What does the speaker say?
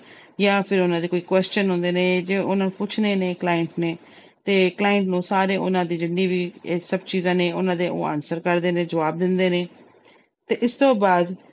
ਜਾਂ ਫਿਰ ਉਹਨਾਂ ਦੇ question ਹੁੰਦੇ ਨੇ, ਜੇ ਉਹਨੇ ਪੁੱਛਣੇ ਨੇ client ਨੇ ਤੇ client ਨੂੰ ਸਾਰੀ ਜਿੰਨੀ ਵੀ ਇਹ ਸਭ ਚੀਜਾਂ ਨੇ, ਉਹਨਾਂ ਦੇ ਉਹ answer ਕਰਦੇ ਨੇ, ਜੁਆਬ ਦਿੰਦੇ ਨੇ ਤੇ ਇਸ ਤੋਂ ਬਾਅਦ